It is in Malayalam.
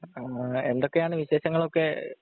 ആഹ് എന്തൊക്കെയാണ് വിശേഷങ്ങളൊക്കെ